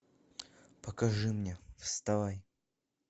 покажи мне вставай